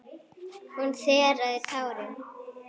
Hún þerraði tárin.